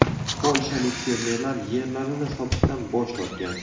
Polshalik fermerlar yerlarini sotishdan bosh tortgan.